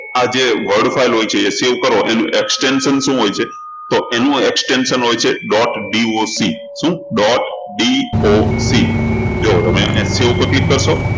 આ જે word file જે હોય છે એ save કરો એનું extension શું હોય છે તો એનું extension હોય છે dotDOC શું dotDOC જુઓ તમે અહી save ઉપર click કરશો